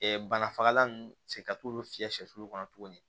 banafagalan ninnu se ka t'olu fiyɛ sɛ kɔnɔ tuguni